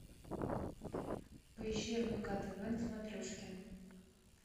поищи рбк тв на смотрежке